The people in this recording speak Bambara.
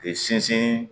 K'i sinsin